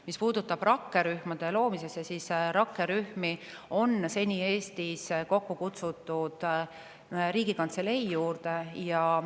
Mis puudutab rakkerühma loomist, siis rakkerühmi on seni Eestis kokku kutsutud Riigikantselei juurde.